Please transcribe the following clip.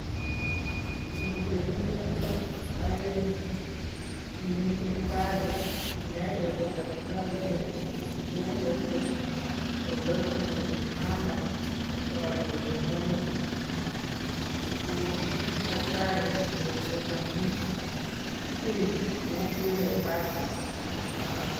Miten chepiosok oeng' chemi sipitali, agenge ko tokitorindet, agenge ko chepioso nemi kitanda neiboru kole mioni , ko mi takitari koelesonji kiy amun kere card board.